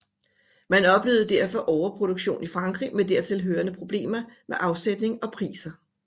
Man oplevede derfor overproduktion i Frankrig med dertil hørende problemer med afsætning og priser